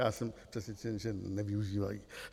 Já jsem přesvědčen, že nevyužívají.